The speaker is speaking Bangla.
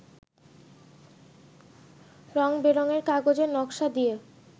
রঙ-বেরঙের কাগজের নকশা দিয়ে